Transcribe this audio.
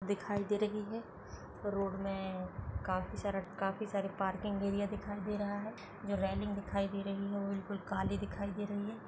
दिखाई दे रही है रोड मे काफी सारा काफी सारा पार्किंग एरिया दिखाई दे रहा है जो रेलिंग दिखाई दे रही है बिल्कुल काली दिखाई दे--